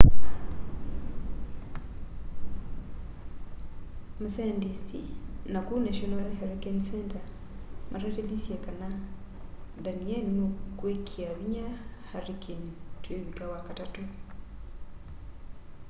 masayandisti naku national hurricane center matatithisye kana danielle nukwikia vinya hurricane tuivika wakatatũ